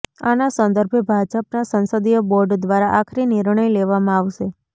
આના સંદર્ભે ભાજપના સંસદીય બોર્ડ દ્વારા આખરી નિર્ણય લેવામાં આવશે